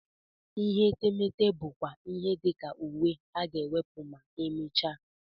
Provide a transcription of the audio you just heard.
Ihe etemeete bụ kwa ihe dị ka uwe a ga-ewepụ ma e mechaa.